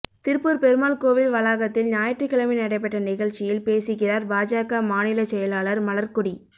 திருப்பூா் பெருமாள் கோவில் வளாகத்தில் ஞாயிற்றுக்கிழமை நடைபெற்ற நிகழ்ச்சியில் பேசுகிறாா் பாஜக மாநிலச் செயலாளா் மலா்க்கொடி